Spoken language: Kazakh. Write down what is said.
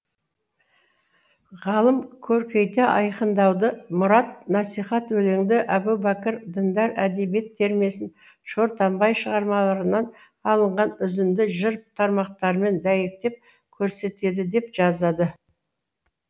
ғалым көркейте айқындауды мұрат насихат өлеңді әбубәкір діндар әдебиет термесін шортанбай шығармаларынан алынған үзінді жыр тармақтарымен дәйектеп көрсетеді деп жазады